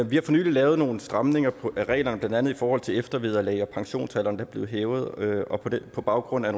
vi har for nylig lavet nogle stramninger af reglerne blandt andet i forhold til eftervederlag og pensionsalderen der blev hævet på baggrund af